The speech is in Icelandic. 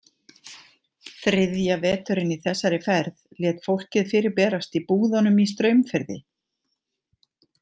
Þriðja veturinn í þessari ferð lét fólkið fyrir berast í búðunum í Straumfirði.